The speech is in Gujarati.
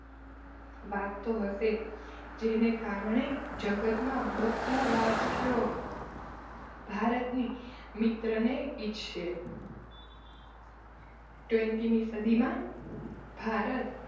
વાગતો હશે. જેને કારણે જગતમાં બધા રાષ્ટ્રો ભારતની મિત્રને ઇચ્છશે સદીમાં ભારત